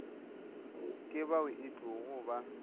ke bao e tlogo ba